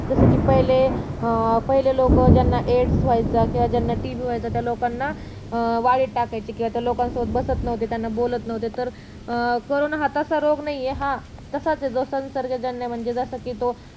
जसं कि पहिले अं लोकांना एड्स व्हायचा किंवा ज्यांना TB व्हायचा त्या लोकांना वाईट टाकायचे किंवा त्या लोकांसोबत बसत नव्हते त्यांच्याशी बोलत नव्हते तर करोंना हा तसा रोग नाही ये जसा हा निसर्गजन्य आहे म्हणजे जसा कि जो